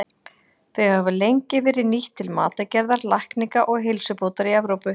Þau hafa lengi verið nýtt til matargerðar, lækninga og heilsubótar í Evrópu.